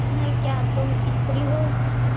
यह क्या तुम स्त्री हो